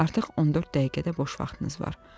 Artıq 14 dəqiqə də boş vaxtınız var.